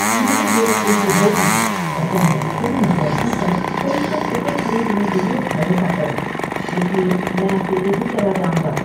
मेरी बेवकूफी होगी अगर मैं तुम जैसों पर फिल्म का टिकट खरीदने के लिए भरोसा करूं, इसलिए मैं अकेले ही चला जाउंगा।